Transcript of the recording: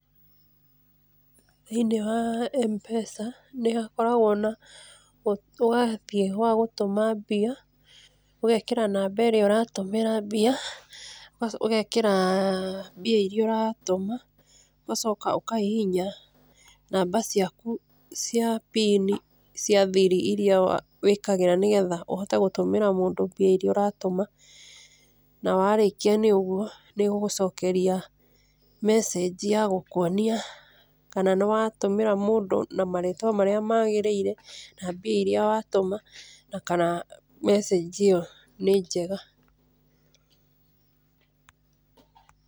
Thĩinĩ wa MPESA nĩ hakoragwo na ũwathiĩ wa gũtũma mbia, ũgeekĩra namba ĩrĩa ũratũmĩra mbia, ũgacoka ũgeekĩra mbia iria ũratũma, ũgacoka ũkahihinya namba ciaku cia PIN cia thiri iria wĩkagĩra nĩgetha ũhote gũtũmĩra mũndũ mbia iria ũratũma. Na warĩkia nĩ ũguo, nĩ ĩgũgũcokeria message ya gũkũonia kana nĩ watũmĩra mũndũ na marĩtwa marĩa maagĩrĩire, na mbia iria watũma na kana message ĩyo nĩ njega.